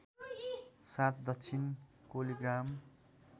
साथ दक्षिण कोलिग्राम